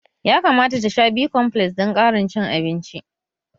Ya kamata ta sha B-komfles dan ƙarin cin abinci